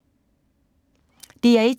DR1